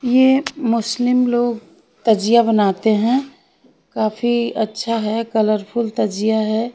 ये मुस्लिम लोग तजिया बनाते हैं काफी अच्छा है कलरफुल तजिया है।